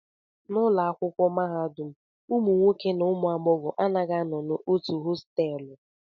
N'ụlọ akwụkwọ mahadum, ụmụ nwoke na ụmụ agbọghọ anaghị anọ n'otu hostelụ